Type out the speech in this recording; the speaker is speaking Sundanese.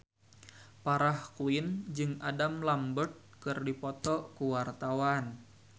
Farah Quinn jeung Adam Lambert keur dipoto ku wartawan